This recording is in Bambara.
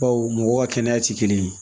Baw mɔgɔ ka kɛnɛya tɛ kelen ye